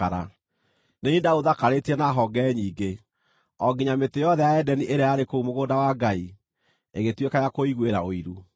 Nĩ niĩ ndaũthakarĩtie na honge nyingĩ, o nginya mĩtĩ yothe ya Edeni ĩrĩa yarĩ kũu mũgũnda wa Ngai ĩgĩtuĩka ya kũũiguĩra ũiru.